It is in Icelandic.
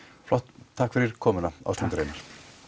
flott takk fyrir komuna Ásmundur Einar